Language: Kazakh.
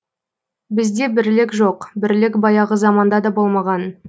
бізде бірлік жоқ бірлік баяғы заманда да болмаған